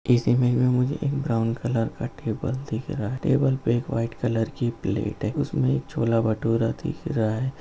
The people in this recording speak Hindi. इस इमेज में हमे एक ब्राउन कलर का टेबल दिख रहा है| टेबल पे वाइट कलर की प्लेट है उसमें छोला -भटूरा दिख रहा है।